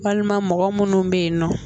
Walima mɔgɔ minnu bɛ yen nɔ